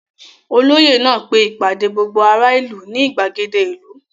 Olóyè náà pe ìpàdé gbogbo aráàlú ní ìgbàgede ìlú.